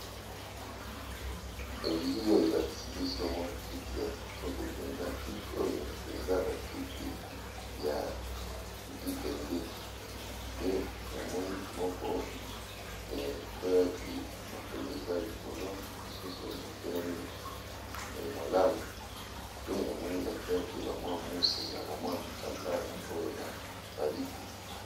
Biili oyo, elakisi biso mwa kiti ya kitoko mpenza. Ba kiti oyo, eza bakiti ya libende ; pe namoni moko ekweyaki, makolo eza likolo. Mosusu, etelemi malamu. Pe namoni, ba tiaki ba mwa muse, na mwa bitambala oyo ya ba liputa.